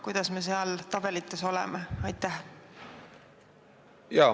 Kuidas me seal tabelites oleme?